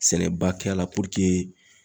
Sɛnɛba kɛ la